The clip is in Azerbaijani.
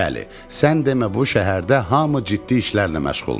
Bəli, sən demə bu şəhərdə hamı ciddi işlərlə məşğulmuş.